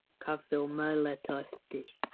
Kaffi og meðlæti á eftir.